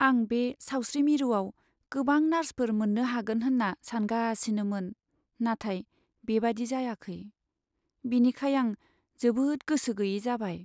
आं बे सावस्रि मिरुआव गोबां नार्सफोर मोन्नो हागोन होन्ना सानगासिनोमोन, नाथाय बेबायदि जायाखै, बिनिखाय आं जोबोद गोसो गैयै जाबाय।